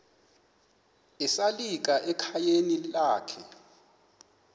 esalika ekhayeni lakhe